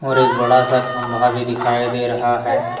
और एक बड़ा सा खंभा भी दिखाई दे रहा है।